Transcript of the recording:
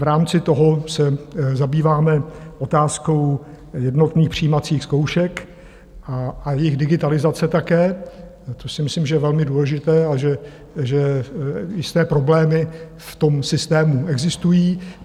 V rámci toho se zabýváme otázkou jednotných přijímacích zkoušek a jejich digitalizace také, což si myslím, že je velmi důležité a že jisté problémy v tom systému existují.